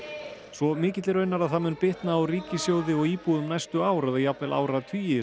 svo mikilli raunar að það mun bitna á ríkissjóði og íbúum næstu ár eða jafnvel áratugi